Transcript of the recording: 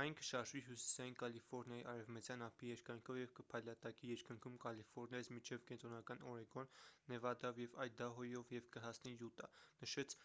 «այն կշարժվի հյուսիսային կալիֆորնիայի արևմտյան ափի երկայնքով և կփայլատակի երկնքում կալիֆորնիայից մինչև կենտրոնական օրեգոն նեվադայով և այդահոյով և կհասնի յուտա»,- նշեց